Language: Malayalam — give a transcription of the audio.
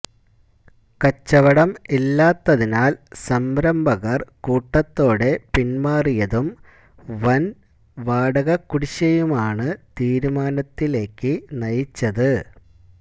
കച്ചവടം ഇല്ലാത്തതിനാല് സംരംഭകര് കൂട്ടത്തോടെ പിന്മാറിയതും വന് വാടകക്കുടിശ്ശികയുമാണ് തീരുമാനത്തിലേക്ക് നയിച്ചത്